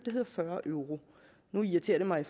hedder fyrre euro nu irriterer det mig